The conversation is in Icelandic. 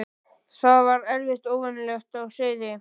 Það var eitthvað óvenjulegt á seyði.